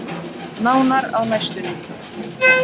Nánar á næstunni.